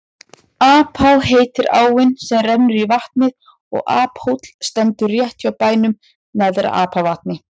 Apá heitir áin sem rennur í vatnið og Aphóll stendur rétt hjá bænum Neðra-Apavatni.